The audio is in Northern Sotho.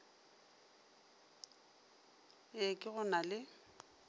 e ke go na le